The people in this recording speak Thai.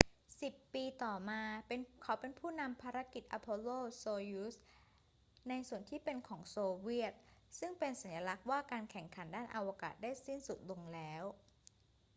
สิบปีต่อมา เขาเป็นผู้นำภารกิจ apollo-soyuz ในส่วนที่เป็นของโซเวียต ซึ่งเป็นสัญลักษณ์ว่าการแข่งขันด้านอวกาศได้สิ้นสุดลงแล้ว